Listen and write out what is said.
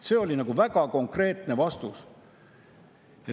See oli väga konkreetne vastus.